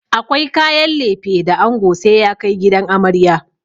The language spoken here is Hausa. Akwai kayan lefe da ango sai ya kai gidan amarya.